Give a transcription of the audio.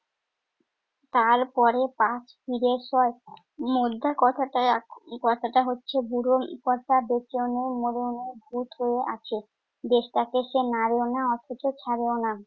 তারপরে পাশ ফিরে শোয়। মোদ্দা কথাটায়~ কথাটা হচ্ছে বুড়ো উম কর্তা বেঁচেও নেই মরেও নেই ভুত হয়ে আছে। দেশটাকে সে মারেও না অথচ ছাড়েও না।